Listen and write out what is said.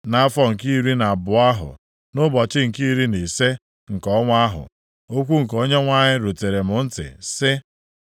Nʼafọ nke iri na abụọ ahụ, nʼụbọchị nke iri na ise nke ọnwa ahụ, okwu nke Onyenwe anyị rutere m ntị sị,